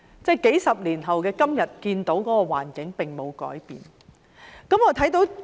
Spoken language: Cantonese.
在數十年後的今天，這種環境仍然沒有改變。